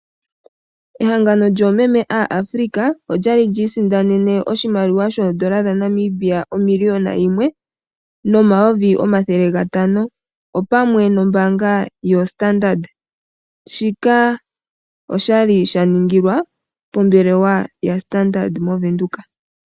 Ehangano lyoomeme aaAfrika olya li lyi isindanene oshimaliwa shoodola dhaNamibia omiliona yimwe nomayovi omathele gatano pamwe nombaanga yaStandard. Shika osha li sha ningilwa pombelwa yaStandard mOvenduka.